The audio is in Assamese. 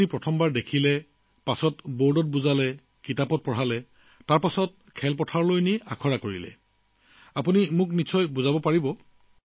প্ৰথম দিনাই ড্ৰোন দেখুৱাইছিল তাৰ পিছত বৰ্ডত কিবা এটা শিকাইছিল কাগজতো কিবা এটা শিকাইছিল তাৰ পিছত আপোনাক অনুশীলনৰ বাবে খেতিপথাৰলৈ লৈ যোৱা হৈছিল কি হল মোক সম্পূৰ্ণ বুজাব পাৰিবনে